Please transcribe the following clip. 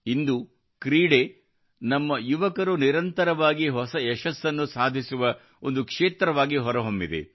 ಇಂದು ಕ್ರೀಡೆಯು ನಮ್ಮ ಯುವಕರು ನಿರಂತರವಾಗಿ ಹೊಸ ಯಶಸ್ಸನ್ನು ಸಾಧಿಸುವ ಒಂದು ಕ್ಷೇತ್ರವಾಗಿ ಹೊರಹೊಮ್ಮಿದೆ